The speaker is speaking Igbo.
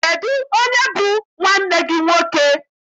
Kedụ onye bụ nwanne gị nwoke?